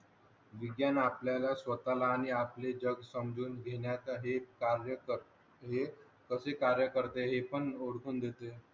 विज्ञान आपल्या ला स्वतःला आणिआपले जग समजून घेण्या साठी कार्य करते कसे कार्य करते हे पण ओळ्खयन घेतले